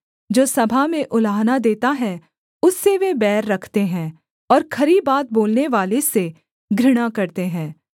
जो सभा में उलाहना देता है उससे वे बैर रखते हैं और खरी बात बोलनेवाले से घृणा करते हैं